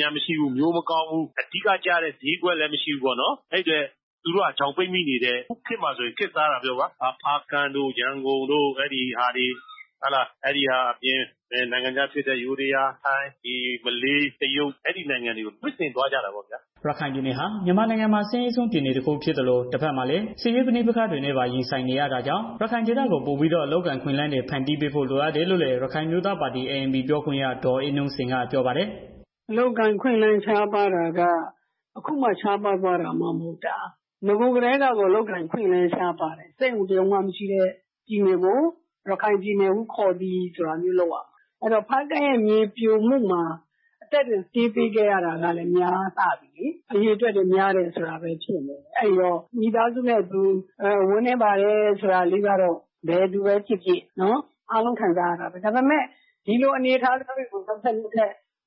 ညာ မရှိဘူး၊ မျိုးမကောင်းဘူး။ အဲတော့ သူတို့တွေ ချောင်ပိတ်မိနေတယ်။ အခုခေတ်မှာ ခေတ်စားလာတာကတော့ ဖားကန့်တို့ ရန်ကုန်တို့ ပြီးတော့ နိုင်ငံခြားဖြစ်တဲ့ ယိုးဒယား၊ ထိုင်း၊ မလေး၊ တရုတ် အဲဒီနိုင်ငံတွေကို ထွက်သွားကြရတာပေါ့ဗျာ။" ရခိုင်ပြည်နယ်ဟာ မြန်မာနိုင်ငံမှာ အဆင်းရဲဆုံးပြည်နယ် တစ်ခုဖြစ်သလို တဘက်မှာလည်း စစ်ရေးပဋိပက္ခတွေနဲ့ ပါရင်ဆိုင်နေရတာကြောင့် ရခိုင်ဒေသကို ပိုပြီးတော့ အလုပ်အကိုင်အခွင့်အလမ်းတွေ ဖန်တီးပေးဖို့ လိုအပ်တယ်လို့လည်း ရခိုင်အမျိုးသားပါတီ ပြောခွင့်ရ ဒေါ်အေးနုစိန်က ပြောပါတယ်။ "အလုပ်အကိုင် အခွင့်အလမ်း ရှားပါးတာက အခုမှရှားပါးသွားတာ မဟုတ်ဘူး။ ဟိုအရင်ကတည်းက ရှားပါးတာ။ စက်ရုံ တစ်စုံမှ မရှိတဲ့ ပြည်နယ်ကို ရခိုင်ပြည်နယ်ဟု ခေါ်သည်။ ဆိုပြီးတော့ ပြောရမှာ။ အဲတော့ ဖားကန့်ရဲ့ မြေပြိုမှုတွေမှာ အသက်တွေ ပေးရတာလည်း များလှပြီ အရေအတွက်များတယ်။ အဲဒီတော့ မိသားစုနဲ့ အတူ ဝမ်းနည်းပါတယ်ဆိုတာကတော့ ဘယ်သူပဲဖြစ်ဖြစ် လူတိုင်းပါပဲ။ ဒါပေမဲ့ ဒီလိုအနေအထား နောက်ထပ်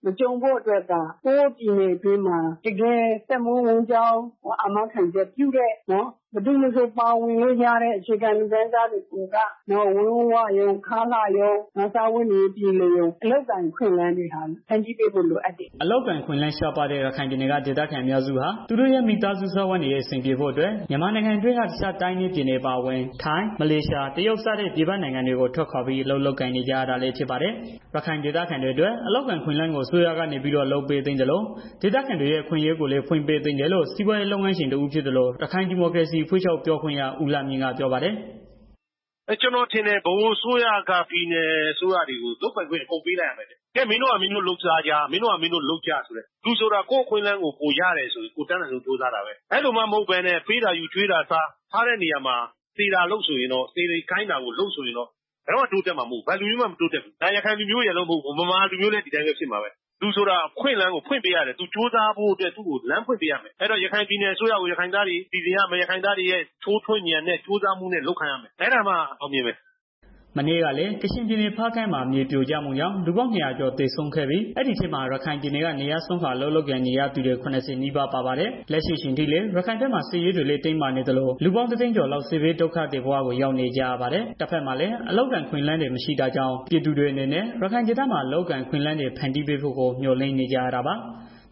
မကြုံဖို့ အတွက် ကိုယ့်ပြည်နယ် အတွင်းမှ တကယ်အသက်မွေးဝမ်းကြောင်း အာမခံချက်ပေးတဲ့ ဘယ်သူမဆိုပါဝင် လို့ရတဲ့ အခြေခံလူတန်းစားတွေ စားဝတ်နေရေး ပြေလည်အောင် အလုပ်အကိုင် အခွင့်အလမ်းတွေ ဖန်တီးပေးဖို့ လိုအပ်တယ်။" အလုပ်အကိုင်အခွင့်အလမ်း ရှားပါးတဲ့ ရခိုင်ပြည်နယ်က ဒေသခံတွေအများစုဟာ သူတို့ရဲ့ မိသားစု စားဝတ်နေရေး အဆင်ပြေဖို့အတွက် မြန်မာနိုင်ငံအတွင်းက အခြားတိုင်းနဲ့ ပြည်နယ်အပါအဝင် ထိုင်း၊ မလေးရှား၊ တရုတ်စတဲ့ ပြည်ပနိုင်ငံတွေကို ထွက်ခွာပြီး အလုပ်လုပ်ကိုင်နေကြရတာလည်း ဖြစ်ပါတယ်။ ရခိုင်ဒေသခံတွေအတွက် အလုပ်အကိုင်အခွင့်အလမ်းကို အစိုးရကနေပြီးတော့လုပ်ပေးသင့်သလို ဒေသခံ တွေရဲ့ အခွင့်အရေးတွေကိုလည်း ဖွင့်ပေးသင့်တယ်လို့ စီးပွားရေးလုပ်ငန်းရှင်တစ်ဦးဖြစ်သလို ရခိုင်ဒီမိုက ရေစီအဖွဲ့ချုပ် ပြောခွင့်ရ ဦးလှမြင့်က ပြောပါတယ်။ "ကျနော်ထင်တယ်။ ဗဟိုအစိုးရက ပြည်နယ်အစိုးရကို လုပ်ပိုက်ခွင့်ပေးရမယ်ထင်တယ်။ ရော့ မင်းတို့ပါ မင်းတို့ လုပ်စားကြလူဆိုတာ ကိုယ့်အခွင့်အလမ်းကို ကိုယ်ရတယ်ဆိုရင် အတတ်နိုင်ဆုံး ကြိုးစားတာပဲ။ အဲလိုမှ မဟုတ်ဘဲ ပေးတာယူ၊ ကျွေးတာစားဆိုရင်တော့ ထားတဲ့နေရာမှာ စေတာလုပ်ဆိုရင်တော့ ဘယ်တော့မှ တိုးတက်မှာ မဟုတ်ဘူး။ ဒါရခိုင်လူုမျိုးရယ်လို့ မဟုတ်ဘူး။ ဗမာလူမျိုးလည်း ဒီအတိုင်းပဲ ဖြစ်မှာပဲ။ လူဆိုတာ အခွင့်အလမ်းကို ဖွင့်ပေးရတယ် သူကြိုးစားဖို့။ အဲတော့ ရခိုင်ပြည်နယ်အစိုးရကိုလည်း ရခိုင်သားတွေ ထိုးတွင်းဉာဏ်နဲ့ လုပ်ခိုင်းရမယ် အဲဒါမှ အောင်မြင်မယ်။" မနေ့ကလည်း ကချင်ပြည်နယ် ဖားကန့်မှာ မြေပြိုကျမှုကြောင့် လူပေါင်း၂၀၀ ကျော် သေဆုံးခဲ့ပြီး အဲဒီထဲမှာ ရခိုင်ပြည်နယ်က နေရပ်စွန့်ခွာ အလုပ်လုပ်ကိုင်နေကြသူတွေ ၇၀ နီးပါး ပါပါတယ်။ လက်ရှိအချိန်ထိလည်း ရခိုင်ဘက်မှာ စစ်ရေးတွေလည်း တင်းမာနေသလို လူပေါင်း ၁၀၀,၀၀၀ ကျော်လောက် စစ်ဘေးဒုက္ခသည် ဘဝကို ရောက်နေကြရပါတယ်။ တဘက်မှာလည်း အလုပ်အကိုင်အခွင့်အလမ်းတွေ မရှိတာကြောင့် ပြည်သူတွေအနေနဲ့ ရခိုင်ဒေသမှာ အလုပ်အကိုင်အခွင့်အလမ်းတွေ ဖန်တီးပေးဖို့ မျှော်လင့်နေကြရတာပါ။